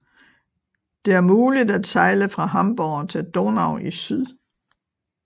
Det er muligt at sejle fra Hamborg til Donau i syd